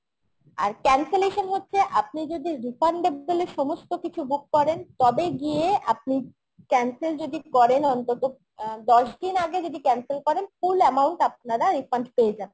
আর cancelation হচ্ছে আপনি যদি refundable এর সমস্ত কিছু book করেন তবে গিয়ে আপনি cancel যদি করেন অন্তত অ্যাঁ দশ দিন আগে যদি cancel করেন full amount আপনারা refund পেয়ে যাবেন